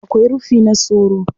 Akwai rufi na soro.